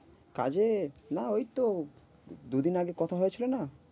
কাজে, না ওই তো, দুদিন আগে কথা হয়েছিল না